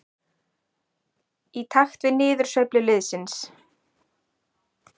Í takt við niðursveiflu liðsins.